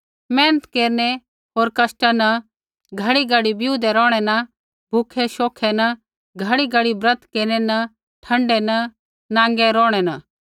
मेहनत केरनै होर कष्टा न घड़ीघड़ी बिऊदै रौहणै न भूखै शोखै न घड़ीघड़ी ब्रत केरनै न ठण्डै न नांगै रौहणै न